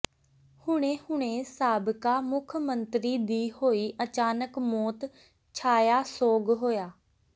ਹੁਣੇ ਹੁਣੇ ਸਾਬਕਾ ਮੁਖ ਮੰਤਰੀ ਦੀ ਹੋਈ ਅਚਾਨਕ ਮੌਤ ਛਾਇਆ ਸੋਗ ਹੋਇਆ